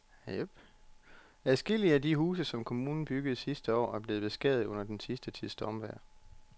Adskillige af de huse, som kommunen byggede sidste år, er blevet beskadiget under den sidste tids stormvejr.